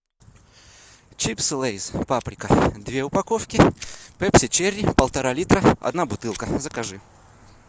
чипсы лейс паприка две упаковки пепси черри полтора литра одна бутылка закажи